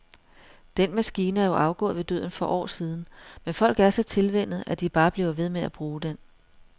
Den maskine er jo afgået ved døden for år siden, men folk er så tilvænnet, at de bare bliver ved med at bruge den.